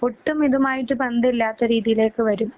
ഒട്ടും ഇതുമായിട്ട് ബന്ധമില്ലാത്ത രീതിയിലേക്ക് വരും.